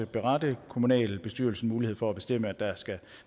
berette kommunalbestyrelsen mulighed for at bestemme at der skal